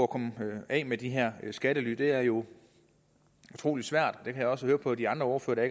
komme af med de her skattely det er jo utrolig svært og jeg også høre på de andre ordførere